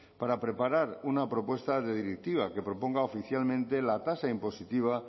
para preparar una propuesta de directiva que proponga oficialmente la tasa impositiva